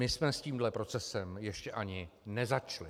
My jsme s tímto procesem ještě ani nezačali.